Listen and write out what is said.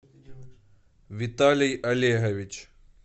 виталий олегович